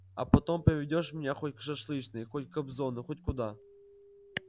а потом поведёшь меня хоть к шашлычной хоть к кобзону хоть куда